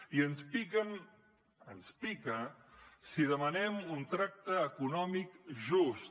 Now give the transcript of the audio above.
i ens pica si demanem un tracte econòmic just